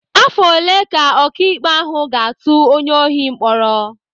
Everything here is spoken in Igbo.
Afọ ole ka ọkaikpe ahụ ga-atụ onye ohi mkpọrọ?